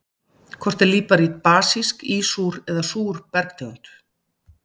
Hvort er líparít basísk, ísúr eða súr bergtegund?